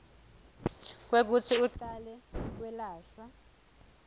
kwekutsi ucale kwelashwa